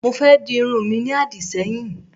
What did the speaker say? Mo fé di irun mi ní àdìṣẹ́yìn